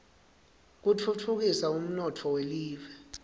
kutfutfukisa umnotfo welive